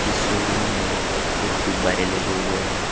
इस शोरूम में कुछ गुब्बारे लगे हुए है।